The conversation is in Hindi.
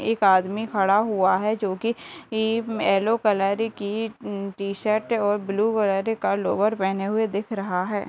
एक आदमी खड़ा हुआ है जोकि येलो कलर की उम टी-शर्ट और ब्लू कलर का लोवर पहने हुए दिख रहा है |